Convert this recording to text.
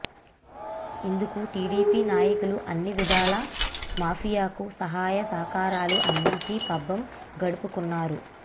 ఇందుకు టీడీపీ నాయకులు అన్ని విధాలా మాఫియాకు సహాయ సహకారాలు అందించి పబ్బం గడుపుకొన్నారు